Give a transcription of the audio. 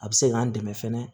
A bɛ se k'an dɛmɛ fɛnɛ